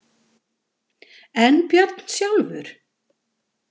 En Björn sjálfur?